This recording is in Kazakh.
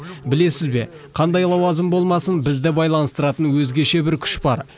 білесіз бе қандай лауазым болмасын бізді байланыстыратын өзгеше бір күш бар